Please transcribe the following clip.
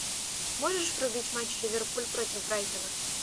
можешь врубить матч ливерпуль против брайтона